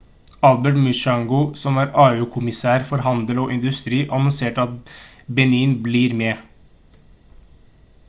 albert muchanga som er au-kommisær for handel og industri annonserte at benin blir med